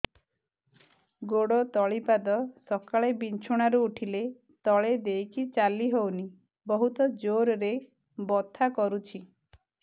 ଗୋଡ ତଳି ପାଦ ସକାଳେ ବିଛଣା ରୁ ଉଠିଲେ ତଳେ ଦେଇକି ଚାଲିହଉନି ବହୁତ ଜୋର ରେ ବଥା କରୁଛି